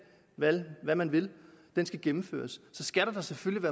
hvad man vil skal gennemføres skal der da selvfølgelig